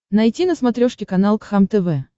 найти на смотрешке канал кхлм тв